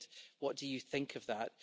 What do you think of that?